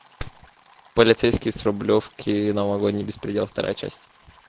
полицейский с рублевки новогодний беспредел вторая часть